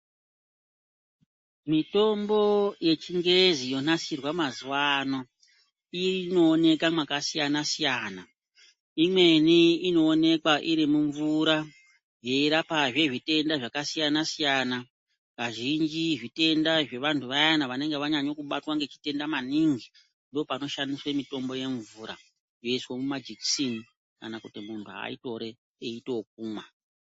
Mitombo yechingezi yonasirwa mazuwa ano inooneka makasiyana siyana . Imweni inoonekwa iri mumvura yeirapazve zvitenda zvakasiyana siyana. Kazhinji zvitenda zvevanhu zvavaya vanenge vanyanya kubatwa ngezvitenda maningi ndopanoshandiswa mitombo yemvura yeiiswa mumajekiseni kana kuti munhu aitore eiite yokumwa.